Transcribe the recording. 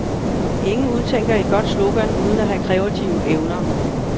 Ingen udtænker et godt slogan uden at have kreative evner.